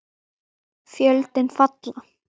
Tjöldin falla.